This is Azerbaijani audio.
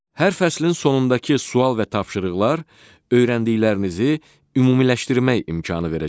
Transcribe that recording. Hər fəslin sonundakı sual və tapşırıqlar öyrəndiklərinizi ümumiləşdirmək imkanı verəcək.